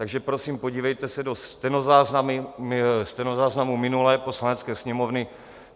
Takže prosím, podívejte se do stenozáznamů minulé Poslanecké sněmovny.